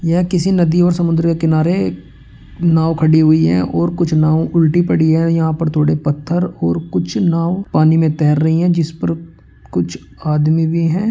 यह किसी नदी और समुद्र किनारे नाव खड़ी हुई हैं और कुछ नाव उल्टी पड़ी हैं | यहाँ पर थोड़े पत्थर और कुछ नाव पानी में तैर रही हैं जिस पर कुछ आदमी भी हैं।